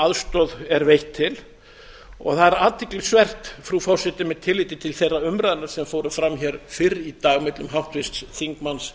aðstoð er veitt til það er athyglisvert frú forseti með tilliti til þeirra umræðna sem fóru fram hér fyrr í dag millum háttvirts þingmanns